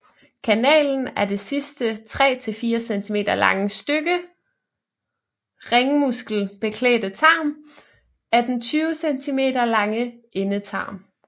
Kanalen er det sidste 3 til 4 cm lange stykke ringmuskelbeklædte tarm af den 20 cm lange endetarm